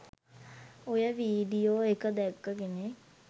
ඔය වීඩියෝ එක දැක්ක කෙනෙක්